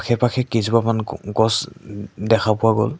আশে পাশে কেইজোপামান গ গছ উ ম দেখা পোৱা গ'ল।